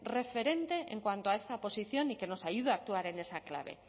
referente en cuanto a esta posición y que nos ayuda a actuar en esa clave